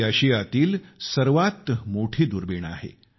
ही आशियातील सर्वात मोठी दुर्बीण आहे